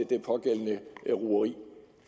det pågældende rugeri